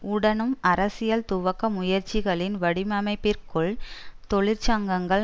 உடனும் அரசியல் துவக்க முயற்சிகளின் வடிவமைப்பிற்குள் தொழிற்சங்கங்கள்